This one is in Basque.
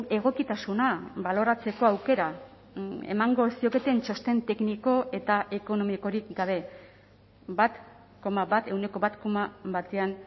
egokitasuna baloratzeko aukera emango zioketeen txosten tekniko eta ekonomikorik gabe bat koma bat ehuneko bat koma batean